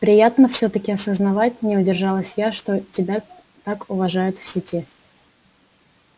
приятно всё-таки осознавать не удержалась я что тебя так уважают в сети